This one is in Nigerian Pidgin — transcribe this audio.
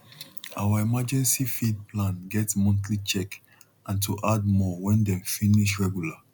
our emergency feed plan get monthly check and to add more when dem finish regular